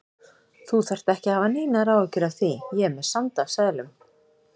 Þú þarft ekki að hafa neinar áhyggjur af því. ég er með sand af seðlum.